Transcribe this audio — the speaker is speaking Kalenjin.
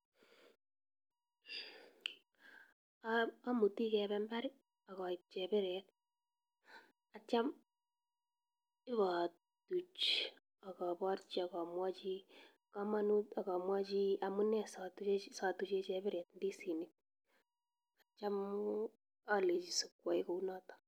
Amuti kepe mbar akaip chebiret atyam ipatuch akaparchi akamwachi kamanut akamwachi amune siatuche chepiret ndisisnik atyam alechi sikwae kounato.